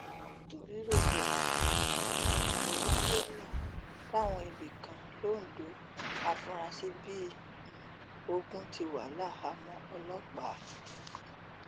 nítorí rògbòdìyàn um tó wáyé láwọn ibì kan lońdó àfurasí bíi um ogun ti wà láhàámọ ọlọpàá